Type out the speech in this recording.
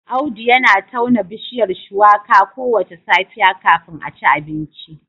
Audu yana tauna bishiyar Shuwaka kowace safiya kafin a ci abinci